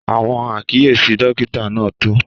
Àwọn àkíyèsí dókítà náà tọ́.